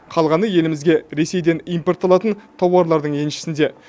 қалғаны елімізге ресейден импортталатын тауарлардың еншісінде